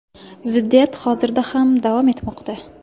Ziddiyat hozirda ham davom etmoqda.